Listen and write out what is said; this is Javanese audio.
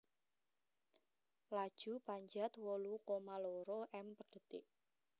Laju Panjat wolu koma loro m per detik